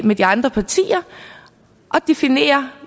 med de andre partier og definere